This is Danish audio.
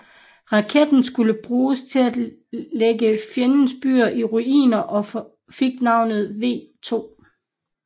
Raketten skulle bruges til at lægge fjendens byer i ruiner og fik navnet V2